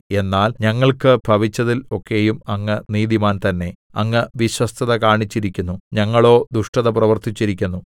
എന്നാൽ ഞങ്ങൾക്ക് ഭവിച്ചതിൽ ഒക്കെയും അങ്ങ് നീതിമാൻ തന്നേ അങ്ങ് വിശ്വസ്തത കാണിച്ചിരിക്കുന്നു ഞങ്ങളോ ദുഷ്ടത പ്രവർത്തിച്ചിരിക്കുന്നു